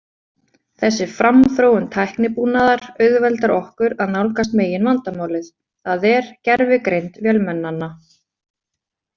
Þessi framþróun tæknibúnaðar auðveldar okkur að nálgast meginvandamálið, það er gervigreind vélmennanna.